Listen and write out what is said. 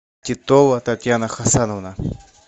титова татьяна хасановна